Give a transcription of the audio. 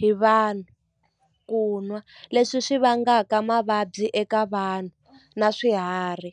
hi vanhu ku n'wa leswi swi vangaka mavabyi eka vanhu na swiharhi.